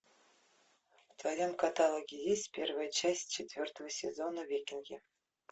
в твоем каталоге есть первая часть четвертого сезона викинги